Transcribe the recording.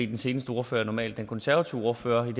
den seneste ordfører er normalt den konservative ordfører men